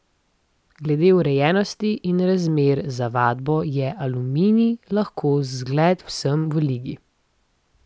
Glede urejenosti in razmer za vadbo je Aluminij lahko zgled vsem v ligi.